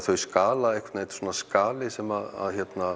þau skala þetta er svona skali sem